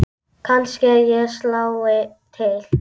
Kannske ég slái til.